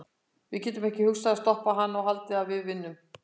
Við getum ekki hugsað um að stoppa hana og haldið að við vinnum.